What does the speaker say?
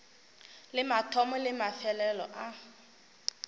le mathomo le mafelelo a